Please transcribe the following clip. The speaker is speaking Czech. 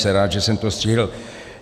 Jsem rád, že jsem to stihl.